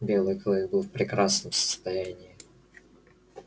белый клык был в прекрасном состоянии